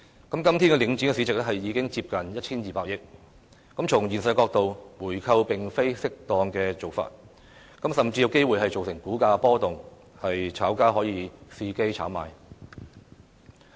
今天領展的市值已接近 1,200 億元，從現實的角度來看，回購並非適當的做法，甚至有機會造成股價波動，炒家伺機炒賣。